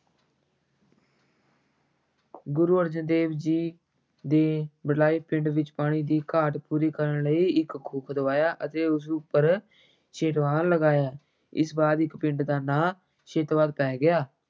ਗੁਰੂ ਅਰਜਨ ਦੇਵ ਜੀ ਦੇ ਵਡਲਾਈ ਪਿੰਡ ਵਿੱਚ ਪਾਣੀ ਦੀ ਘਾਟ ਪੂਰੀ ਕਰਨ ਲਈ ਇੱਕ ਖੂਹ ਖੁਦਵਾਇਆ ਅਤੇ ਉਸ ਉੱਪਰ ਲਗਾਇਆ, ਇਸ ਬਾਅਦ ਇਸ ਪਿੰਡ ਦਾ ਨਾਂ ਪੈ ਗਿਆ।